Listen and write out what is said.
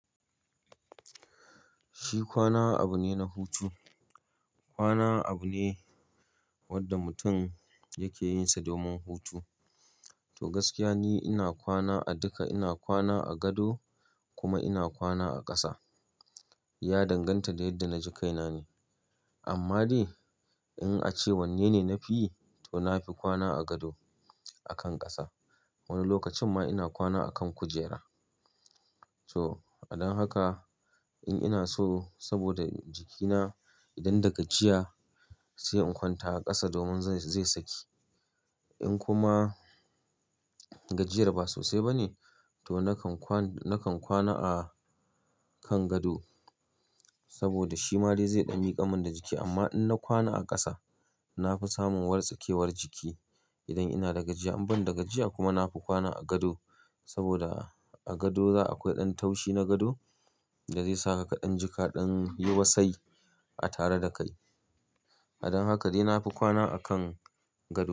Shi kwana abu ne na hutu. Kwana abu ne wanda mutum yake yinsa domin hutu. To gaskiya ne ina kwana a duka, ina kwana a gado kuma ina kwana a ƙasa. Ya danganta da yadda na ji kaina ne. Amma dai in a ce wanne ne na fi yi, to na fi kwana a gado akan ƙasa. Wani lokacin ma ina kwana a kan kujera. To, a don haka in ina so saboda jikina idan daga jiya sai in kwanta a ƙasa domin zai, zai saki. In kuma gajiyar ba sosai ba ne, to nakan kwan, nakan kwana a kan gado saboda shi ma dai zai ɗan miƙamar min da jiki. Amma in na kwana a ƙasa, na fi samun wartsakewar jiki idan ina daga jiya. In banda gajiya kuma na fi kwana a gado saboda a gado za a kwai ɗan taushi na gado da zai sa ka ɗan jika ɗan yi wasai a tare da kai. A don haka dai na fi kwana a kan gado.